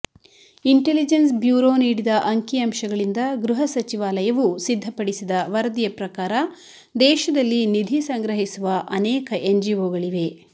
intelligence Bureau ನೀಡಿದ ಅಂಕಿ ಅಂಶಗಳಿಂದ ಗೃಹ ಸಚಿವಾಲಯವು ಸಿದ್ಧಪಡಿಸಿದ ವರದಿಯ ಪ್ರಕಾರ ದೇಶದಲ್ಲಿ ನಿಧಿ ಸಂಗ್ರಹಿಸುವ ಅನೇಕ ಎನ್ಜಿಓಗಳಿವೆ